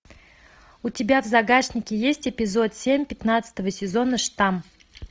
у тебя в загашнике есть эпизод семь пятнадцатого сезона штамм